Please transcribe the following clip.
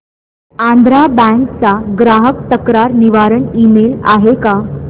Andhra bank चा ग्राहक तक्रार निवारण ईमेल आहे का